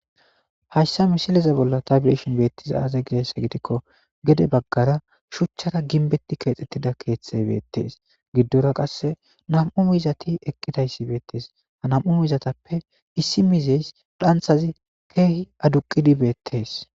hayssa mishileza bolla tabiyeshin beettiza aaze giessa gidikko gede baggara shuchchara ginbetti keexxettida keeththe beettees giddora qasse nam7u mizati eqqidayssi beettees ha nam7u mizatappe issi mizeys dhanthazi keehi aduqidi beettees